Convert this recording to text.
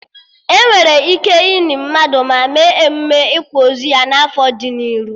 Enwere ike ini mmadụ, ma mee emụme ịkwa ozu ya na afọ dị n'iru